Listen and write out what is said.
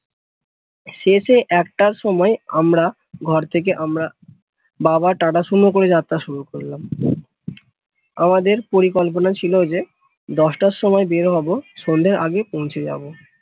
শেষে একটার সময় আমরা ঘর থেকে আমরা বাবার যাত্রা শুরু করলাম আমাদের পরিকল্পনা ছিল এই যে দশটার সময় বের হব সন্ধ্যার আগে পৌঁছে যাব